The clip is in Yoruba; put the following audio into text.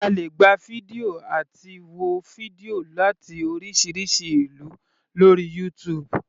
A lè gba fídíò àti wo fídíò láti oríṣiríṣi ìlú lórí YouTube.